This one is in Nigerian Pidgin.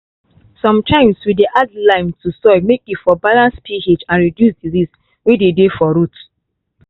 sometimes we dey add lime to soil make e for balance ph and reduce disease way dey dey for root.